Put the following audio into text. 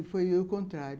E foi o contrário.